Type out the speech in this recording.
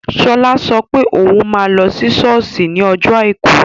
Shola sọ pé òun máa lọ sí sọ́ọ̀sì ní ọjọ́ àìkú